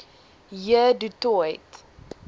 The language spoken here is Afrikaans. j du toit